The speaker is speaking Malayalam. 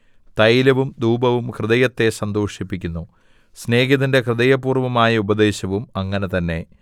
തൈലവും ധൂപവും ഹൃദയത്തെ സന്തോഷിപ്പിക്കുന്നു സ്നേഹിതന്റെ ഹൃദയപൂർവ്വമായ ഉപദേശവും അങ്ങനെ തന്നെ